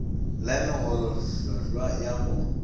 la megolo hlhlwa ya go